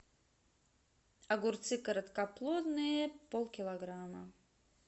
огурцы короткоплодные полкилограмма